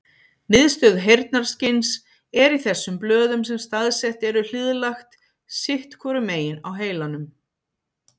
Miðstöð heyrnarskyns er í þessum blöðum sem staðsett eru hliðlægt sitt hvoru megin á heilanum.